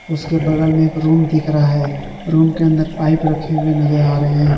उसके बगल में एक रूम दिख रहा है रूम के अंदर पाइप रखे हुए नजर आ रहे हैं।